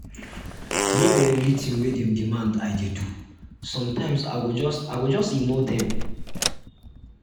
no be everytin wey dem demand i dey do sometimes i go just go just ignore dem